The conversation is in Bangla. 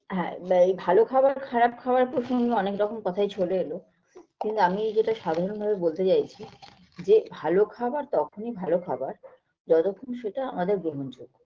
হ্যাঁ ব ভালো খাবার খারাপ খাবার প্রসঙ্গে অনেক রকম কথাই চলে এলো কিন্তু আমি যেটা সাধারণ ভাবে বলতে চাইছি যে ভালো খাবার তখনই ভালো খাবার যতক্ষণ সেটা আমাদের গ্ৰহণযোগ্য